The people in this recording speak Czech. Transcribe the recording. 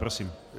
Prosím.